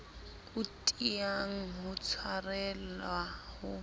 o tiang ho tshwarelwa ho